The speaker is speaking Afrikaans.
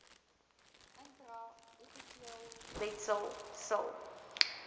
intra epiteelletsel sil